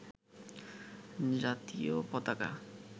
জাতীয় পতাকা